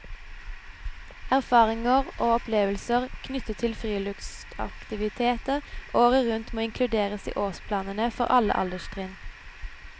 Erfaringer og opplevelser knyttet til friluftsaktiviteter året rundt må inkluderes i årsplanene for alle alderstrinn.